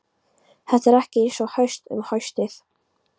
Þetta er ekki eins haust og um haustið.